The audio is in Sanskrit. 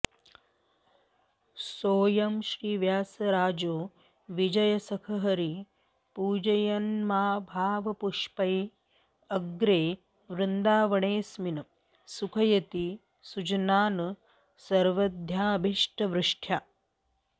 सोऽयं श्रीव्यासराजो विजयसखहरि पूजयन्भावपुष्पैः अग्र्ये वृन्दावनेऽस्मिन् सुखयति सुजनान् सर्वदाऽभीष्टवृष्ट्या